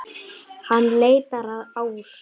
Hann leitar að Ásu.